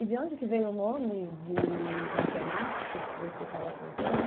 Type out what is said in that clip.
E de onde que veio o nome de matemáticos que você estava contando?